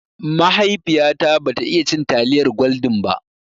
Mahaifiya ta ba ta iya cin taliyar gwaldin ba